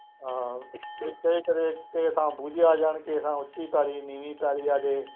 ਹਾਂ ਉੱਥੇ ਕਦੇ ਕਿਸੇ ਥਾਂ ਬੂਝੇ ਆ ਜਾਣ, ਕਿਸੇ ਥਾਂ ਉੱਚੀ ਪੈਲੀ, ਨੀਵੀਂ ਪੈਲੀ ਆ ਜਾਏ